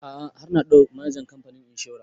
A'a har na haɗu da manajan kamfanin inshora